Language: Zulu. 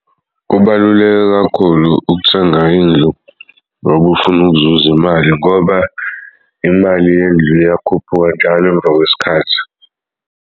Kubaluleke kakhulu ukuthenga indlu ngoba ufuna ukuzuz'imali ngoba imali yendlu iyakhuphuka njalo emva kwesikhathi.